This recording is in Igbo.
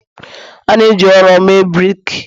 A na-eji ụrọ mee brik